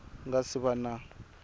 ku nga si va na